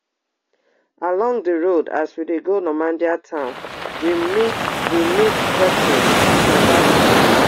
along di road as we dey go normandein town we meet we meet bethuel mabaso